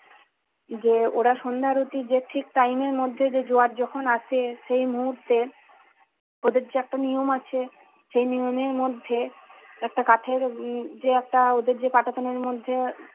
যে ওরা সন্ধ্যা আরতি যে ঠিক time এর মধ্যে যে জোয়ার যখন আসে সেই মহূতে ওদের যে একটা নিয়ম আছে সেই নিয়মের মধ্যে একটা কাঠের উম যে একটা ওদের যে পাটাতনের মধ্যে